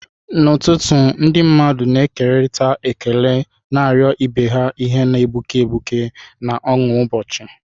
N'ụtụtụ, ndị mmadụ na-ekerịta ekele, na-arịọ ibe ha ihe na-egbuke egbuke na ọṅụ ụbọchị.